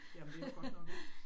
Jamen det jo godt nok